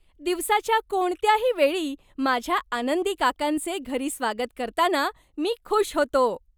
दिवसाच्या कोणत्याही वेळी माझ्या आनंदी काकांचे घरी स्वागत करताना मी खुश होतो.